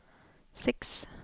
seks